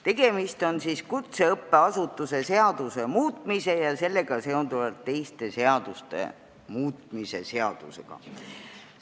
Tegemist on kutseõppeasutuse seaduse muutmise ja sellega seonduvalt teiste seaduste muutmise seadusega.